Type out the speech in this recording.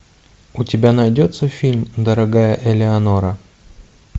у тебя найдется фильм дорогая элеонора